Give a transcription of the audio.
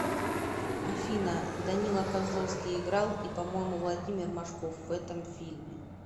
афина данила козловский играл и по моему владимир машков в этом фильме